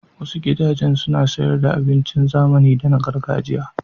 Wasu gudajen suna sayar da abincin zamani da na gargajiya.